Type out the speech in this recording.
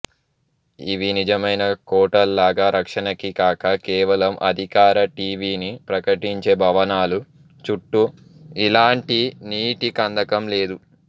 ఇవి నిజమైన కోటల్లాగా రక్షణకి కాక కేవలం అధికార ఠీవీని ప్రకటించే భవనాలు చుట్టూ ఇలాంటి నీటి కందకం లేదు